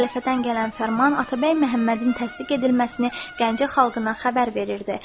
Xəlifədən gələn fərman Atabəy Məhəmmədin təsdiq edilməsini Gəncə xalqına xəbər verirdi.